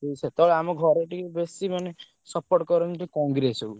ହୁଁ ସେତବେଳେ ଆମ ଘରେ ଟିକେ ବେଶୀ ମାନେ support କରନ୍ତି କଂଗ୍ରେସକୁ।